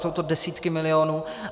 Jsou to desítky milionů.